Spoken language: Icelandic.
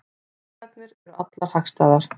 Fyrirsagnir eru allar hagstæðar